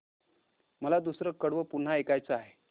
मला दुसरं कडवं पुन्हा ऐकायचं आहे